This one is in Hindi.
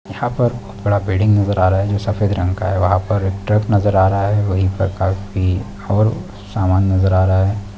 यहाँ पर बहुत बड़ा बिल्डिंग नज़र आ रहा है जो सफेद रंग का है वहाँ पर एक ट्रक नज़र आ रहा है वही पर काफी और सामान नज़र आ रहा हैं ।